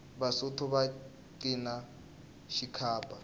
vasotho va cina xikhaba